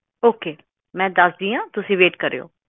okay ਮੈਂ ਦੱਸਦੀ ਆ ਤੁਸੀਂ ਵੇਟ ਕਰਿਓ